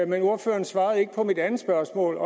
men ordføreren svarede ikke på mit andet spørgsmål